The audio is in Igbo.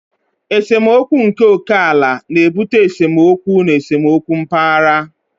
Esemokwu nke oke ala na-ebute esemokwu na esemokwu mpaghara.